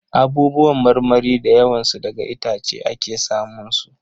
Abubuwan marmari da yawan su daga itace ake sa mun su.